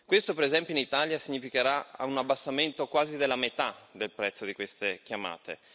Questo, per esempio, in Italia significherà un abbassamento quasi della metà del prezzo di queste chiamate.